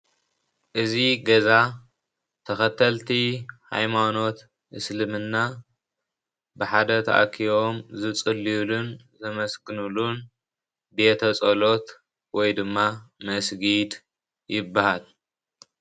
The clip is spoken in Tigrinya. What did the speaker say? እዚ ገዛ ተኸተልቲ ሃይማኖት እስልምና ብሓደ ተኣኪቦም ዝፅልዩሉን ዘመስግንሉን ቤተ-ጸሎት ወይ ድማ መስጊድ ይበሃል።